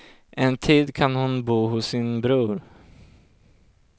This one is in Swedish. En tid kan hon bo hos sin bror.